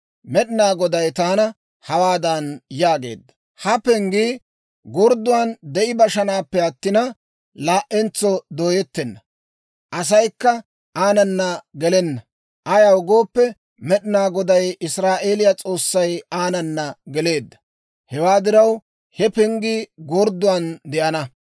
Med'inaa Goday taana hawaadan yaageedda; «Ha penggii gordduwan de'i bashanaappe attina, laa"entso dooyettenna. Asaykka aanana gelenna; ayaw gooppe, Med'inaa Goday Israa'eeliyaa S'oossay aanana geleedda. Hewaa diraw, he penggii gordduwan de'ana.